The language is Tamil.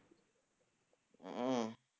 ம்ஹும்